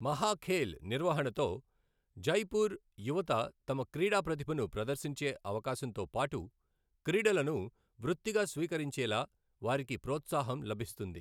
మహఖేల్ నిర్వహణతో జైపూర్ యువత తమ క్రీడా ప్రతిభను ప్రదర్శించే అవకాశంతోపాటు క్రీడలను వృత్తిగా స్వీకరించేలా వారికి ప్రోత్సాహం లభిస్తుంది.